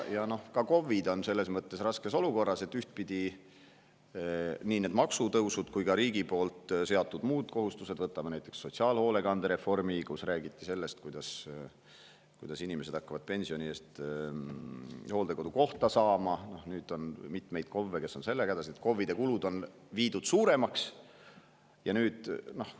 Ka KOV‑id on selles mõttes raskes olukorras, et nii maksutõusude kui ka muude riigi seatud kohustustega – võtame näiteks sotsiaalhoolekandereformi, mille puhul räägiti sellest, et inimesed hakkavad pensioni eest hooldekodukohta saama, aga nüüd on mitmeid KOV‑e, kes on sellega hädas – on KOV‑ide kulud suuremaks.